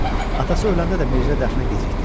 Atası öləndə də Mirzə dəfnə gecikdi.